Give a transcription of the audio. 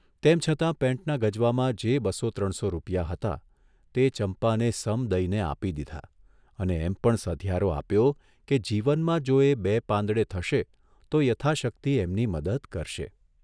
તેમ છતાં પેન્ટના ગજવામાં જે બસો ત્રણસો રૂપિયા હતા તે ચંપાને સમ દઇને આપી દીધા અને એમ પણ સધિયારો આપ્યો કે જીવનમાં જો એ બે પાંદડે થશે તો યથાશક્તિ એમની મદદ કરશે.